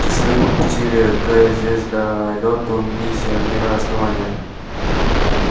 часовые пропустили к звездолёту миссионера основания